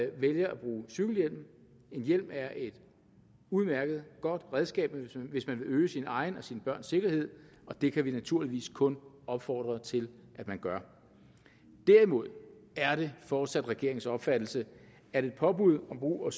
vælger at bruge cykelhjelm en hjelm er et udmærket og godt redskab hvis man vil øge sin egen og sine børns sikkerhed og det kan vi naturligvis kun opfordre til at man gør derimod er det fortsat regeringens opfattelse at et påbud om brug af